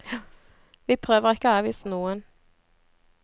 Vi prøver ikke å avvise noen.